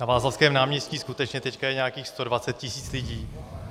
Na Václavském náměstí skutečně teď je nějakých 120 tisíc lidí.